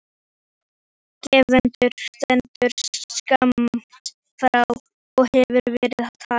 Gvendur stendur skammt frá og hefur verið að tala.